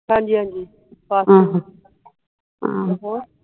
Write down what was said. ਹਾਂਜੀ ਹਾਂਜੀ ਪਾਸ ਤੇ ਹੋਗੀਆ